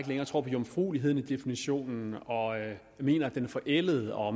længere tror på jomfrueligheden i definitionen og mener at den er forældet og